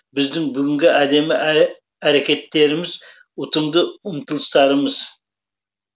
біздің бүгінгі әдемі әрекеттеріміз ұтымды ұмтылыстарымыз